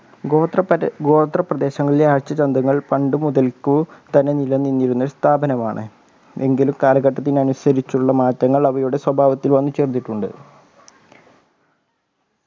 ഗോത്ര പരി ഗോത്ര പ്രദേങ്ങളിലെ ആഴ്ച ചന്തങ്ങൾ പണ്ടുമുതൽക്കു തന്നെ നിലനിന്നിരുന്ന സ്ഥാപനമാണ് എങ്കിലും കാലഘട്ടത്തിനനുസരിച്ചുള്ള മാറ്റങ്ങൾ അവയുടെ സ്വഭാവത്തിൽ വന്നുചേർന്നിട്ടുണ്ട്